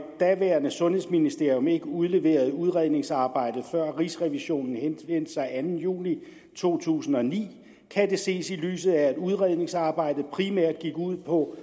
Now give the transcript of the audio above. daværende sundhedsministerium ikke udleverede udredningsarbejdet før rigsrevisionen henvendte sig den anden juli to tusind og ni kan det ses i lyset af at udredningsarbejdet primært gik ud på